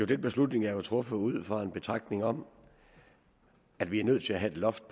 den beslutning er jo truffet ud fra en betragtning om at vi er nødt til at have et loft